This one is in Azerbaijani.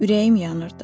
Ürəyim yanırdı.